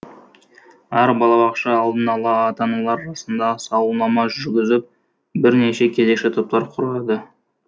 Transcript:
әр балабақша алдын ала ата аналар арасында сауалнама жүргізіп бірнеше кезекші топтар құрады